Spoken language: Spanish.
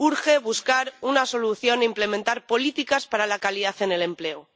Urge buscar una solución e implementar políticas para la calidad en el empleo.